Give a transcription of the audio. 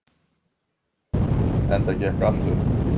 Enda gekk allt upp.